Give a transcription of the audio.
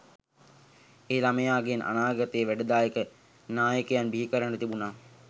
ඒ ළමයගෙන් අනාගතයට වැඩදායක නායකයෙක් බිහිකරගන්න තිබුනා